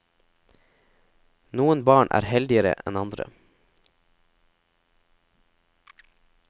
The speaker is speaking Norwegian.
Noen barn er heldigere enn andre.